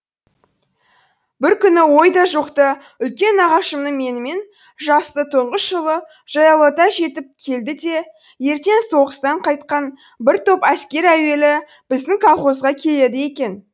бір күні ойда жоқта үлкен нағашымның менімен жасты тұңғыш ұлы жаяулата жетіп келді де ертең соғыстан қайтқан бір топ әскер әуелі біздің колхозға келеді екен